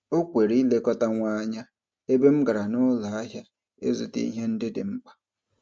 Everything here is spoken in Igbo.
O kwere ịlekọta nwa anya ebe m gara n'ụlọahịa ịzụta ihe ndị dị mkpa.